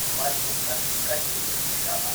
मधुकर्कटिवृक्षः